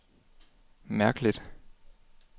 mærkeligt